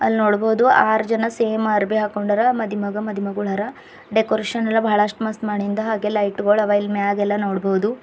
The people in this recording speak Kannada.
ಅಲ್ ನೋಡಬಹುದು ಆರ್ ಜನ ಸೇಮ್ ಅರ್ಬಿ ಹಾಕ್ಕೊಂಡರಾ ಆದಿ ಮಗ ಮದಿ ಮಗಳು ಆರ ಡೆಕೋರೇಷನ್ ಎಲ್ಲಾ ಬಹಳಷ್ಟು ಮಸ್ತ್ ಮಾಡಿಂದ ಹಾಗೆ ಲೈಟ್ ಗೋಳ ಹವಾ ಇಲ್ ಮ್ಯಾಗೆಲ್ಲ ನೋಡಬಹುದು.